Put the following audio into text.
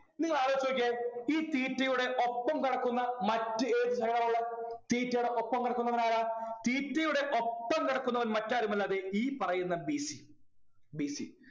നിങ്ങളാലോചിച്ചു നോക്കിയേ ഈ theta യുടെ ഒപ്പം കിടക്കുന്ന മറ്റ് ഏത് theta ടെ ഒപ്പം കിടക്കുന്നവനാരാ theta യുടെ ഒപ്പം കിടക്കുന്നവർ മറ്റാരുമല്ല ദേ ഈ പറയുന്ന B C B C